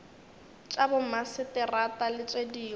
tša bomaseterata le tše dingwe